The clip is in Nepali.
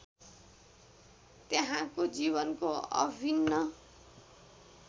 त्यहाँको जीवनको अभिन्न